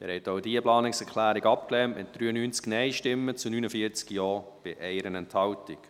Sie haben die Planungserklärung 2 abgelehnt, mit 93 Nein- gegen 49 Ja-Stimmen bei 1 Enthaltung.